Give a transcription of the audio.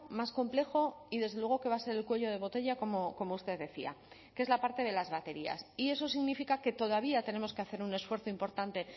más complejo y desde luego que va a ser el cuello de botella como usted decía que es la parte de las baterías y eso significa que todavía tenemos que hacer un esfuerzo importante